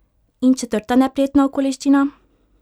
In četrta neprijetna okoliščina?